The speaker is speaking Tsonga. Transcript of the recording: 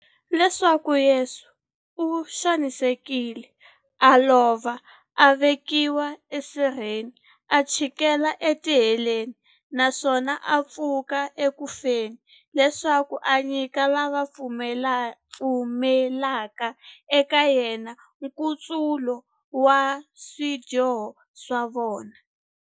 Leswaku Yesu u xanisekile, a lova, a vekiwa esirheni, a chikela etiheleni, naswona a pfuka eku feni, leswaku a nyika lava va pfumelaka eka yena, nkutsulo wa swidyoho swa vona.